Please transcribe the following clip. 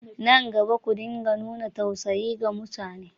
Nan gaba, ku dinga nuna tausayi ga mutane!